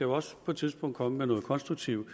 også på et tidspunkt komme med noget konstruktivt